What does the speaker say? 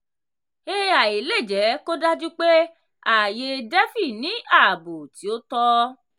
"ai" lè jẹ́ kó dájú pé ààyè "defi" ní ààbò tí ó tọ́.